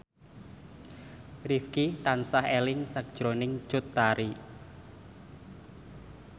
Rifqi tansah eling sakjroning Cut Tari